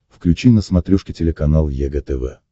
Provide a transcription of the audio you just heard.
включи на смотрешке телеканал егэ тв